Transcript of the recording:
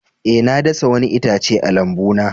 Eh, na dasa wani itace a lambuna.